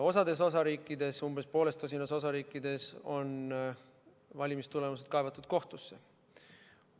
Osas osariikides, umbes pooles tosinas osariigis on valimistulemused kaevatud kohtusse.